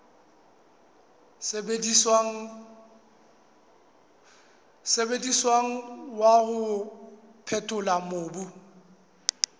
sebediswang wa ho phethola mobu